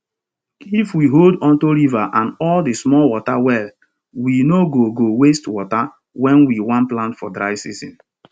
if we hold onto river and all the small water well we no go go waste water when we want plant for dry season